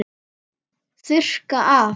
Þurrka af.